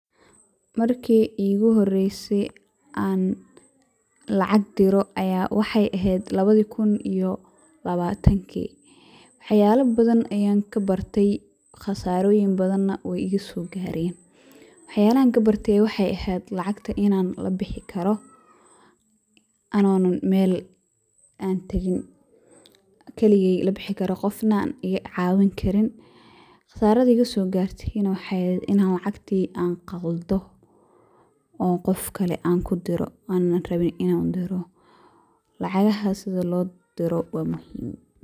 Markii igu horeysey an lacag diro aya waxay ehed labadi kun iyo labatankii, waxaka badan ayan kabarte qasaaroyin badan na way igaso gaaren wax yalahan kabartee waxay ehed lacagta inan labixi kaaro anona Mel an teegi keligey labixi, qofna an I caawini karin, qasaradi igaso gaarte na waxay ehed inan lacagti an qaldo an qof kale anku diro ana atabe inan diro, lacagahas sidi loo diro waa muhiim